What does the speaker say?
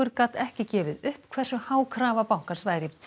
gat ekki gefið upp hversu há krafa bankans væri